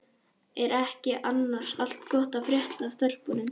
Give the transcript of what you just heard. Er ekki annars allt gott að frétta af stelpunum?